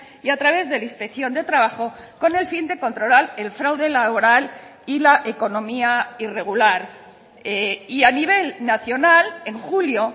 y a través de la inspección de trabajo con el fin de controlar el fraude laboral y la economía irregular y a nivel nacional en julio